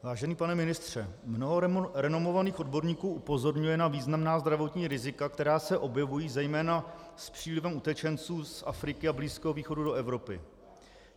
Vážený pane ministře, mnoho renomovaných odborníků upozorňuje na významná zdravotní rizika, která se objevují zejména s přílivem utečenců z Afriky a Blízkého východu do Evropy.